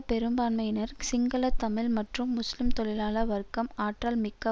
பெரும்பான்மையினர் சிங்கள தமிழ் மற்றும் முஸ்லிம் தொழிலாள வர்க்கம் ஆற்றல் மிக்க